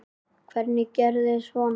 Hver gerir svona?